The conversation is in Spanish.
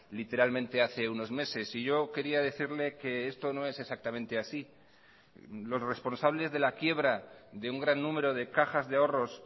literalmente hace unos meses y yo quería decirle que esto no es exactamente así los responsables de la quiebra de un gran número de cajas de ahorros